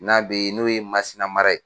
N'a be n'o ye MASINA mara ye.